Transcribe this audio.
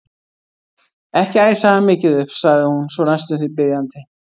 Ekki æsa hann mikið upp sagði hún svo næstum því biðjandi.